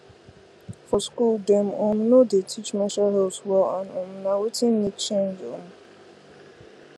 for school dem um no dey teach menstrual health well and um na wetin need change um